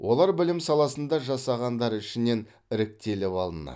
олар білім саласында жасағандар ішінен іріктеліп алынады